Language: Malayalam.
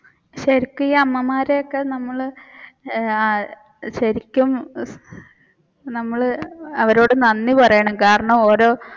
ശരിക്കും അമ്മമാരെയൊക്കെ നമ്മൾ ഏർ ശരിക്കും നമ്മൾ അവരോട് നന്ദി പറയണം കാരണം ഓരോ